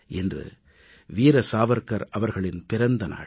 இன்று வீர சாவர்க்கர் அவர்களின் பிறந்த நாள்